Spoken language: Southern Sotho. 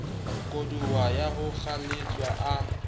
koduwa ya ho kgaoletswa a